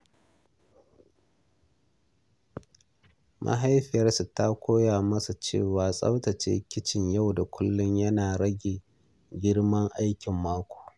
Mahaifiyarsa ta koya masa cewa tsaftace kicin yau da kullum yana rage girman aikin mako.